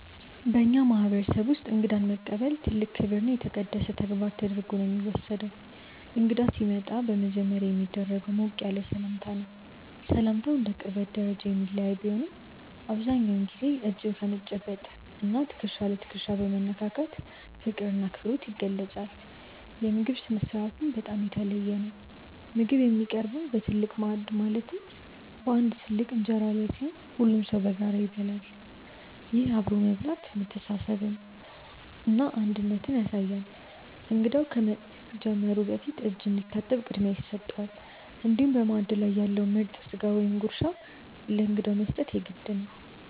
በእኛ ማህበረሰብ ውስጥ እንግዳን መቀበል ትልቅ ክብርና የተቀደሰ ተግባር ተደርጎ ነው የሚወሰደው። እንግዳ ሲመጣ በመጀመሪያ የሚደረገው ሞቅ ያለ ሰላምታ ነው። ሰላምታው እንደ ቅርበት ደረጃ የሚለያይ ቢሆንም፣ አብዛኛውን ጊዜ እጅ በመጨበጥ እና ትከሻ ለትከሻ በመነካካት ፍቅርና አክብሮት ይገለጻል። የምግብ ስነ-ስርዓቱም በጣም የተለየ ነው። ምግብ የሚቀርበው በትልቅ ማዕድ ማለትም በአንድ ትልቅ እንጀራ ላይ ሲሆን፣ ሁሉም ሰው በጋራ ይበላል። ይህ አብሮ መብላት መተሳሰርንና አንድነትን ያሳያል። እንግዳው ከመጀመሩ በፊት እጅ እንዲታጠብ ቅድሚያ ይሰጠዋል፤ እንዲሁም በማዕድ ላይ ያለውን ምርጥ ስጋ ወይም ጉርሻ ለእንግዳው መስጠት የግድ ነው።